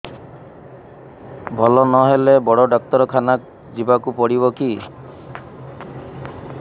ଭଲ ନହେଲେ ବଡ ଡାକ୍ତର ଖାନା ଯିବା କୁ ପଡିବକି